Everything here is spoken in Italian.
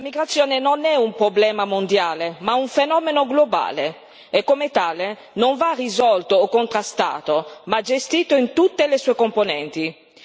La migrazione non è un problema mondiale ma un fenomeno globale e, come tale, non va risolto o contrastato ma gestito in tutte le sue componenti.